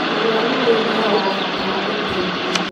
Mũrũaru oyũ nĩ arabatara ũteithio.